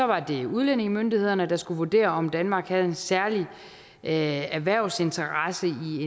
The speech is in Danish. var det udlændingemyndighederne der skulle vurdere om danmark havde en særlig erhvervsinteresse i